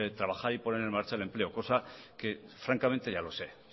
trabajar y poner en marcha el empleo cosa que francamente ya lo sé